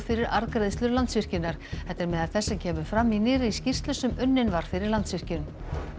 fyrir arðgreiðslur Landsvirkjunar þetta er meðal þess sem kemur fram í nýrri skýrslu sem unnin var fyrir Landsvirkjun